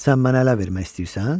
Sən mənə ələ vermək istəyirsən?